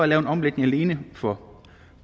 lave en omlægning alene for